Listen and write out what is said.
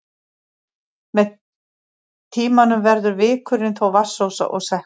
Með tímanum verður vikurinn þó vatnsósa og sekkur.